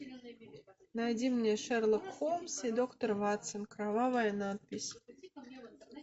найди мне шерлок холмс и доктор ватсон кровавая надпись